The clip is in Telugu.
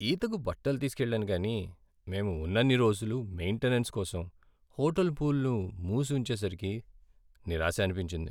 ఈతకు బట్టలు తీసుకెళ్ళాను కానీ మేం ఉన్నన్ని రోజులూ మెయిన్టెనెన్స్ కోసం హోటల్ పూల్ను మూసి ఉంచేసరికి నిరాశ అనిపించింది.